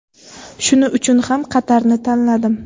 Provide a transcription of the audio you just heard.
Shuning uchun ham Qatarni tanladim.